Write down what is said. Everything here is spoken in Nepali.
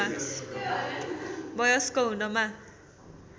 वयस्क हुनमा